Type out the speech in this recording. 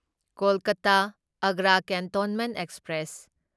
Kolkata Agra cantonment express